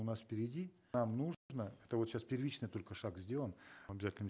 у нас впереди нам это вот сейчас первичный только шаг сделан обязательном